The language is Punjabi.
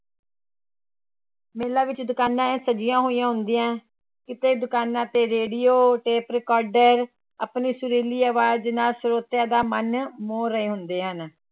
ਮੇਲੇ ਵਿੱਚ ਦੁਕਾਨਾਂ ਇਉਂ ਸਜੀਆਂ ਹੋਈਆਂ ਹੁੰਦੀਆਂ, ਕਿਤੇ ਦੁਕਾਨਾਂ ਤੇ ਰੇਡੀਓ ਟੇਪ recorder ਆਪਣੀ ਸੁਰੀਲੀ ਆਵਾਜ਼ ਨਾਲ ਸਰੋਤਿਆਂ ਦਾ ਮਨ ਮੋਹ ਰਹੇ ਹੁੰਦੇ ਹਨ।